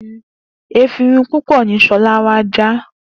Efinrin púpọ̀ ní Ṣọlá já wá.